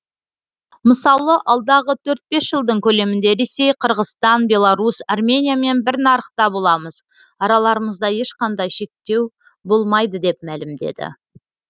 мысалы алдағы төрт бес жылдың көлемінде ресей қырғызстан беларусь армениямен бір нарықта боламыз араларымызда ешқандай шектеу болмайды деп мәлімдеді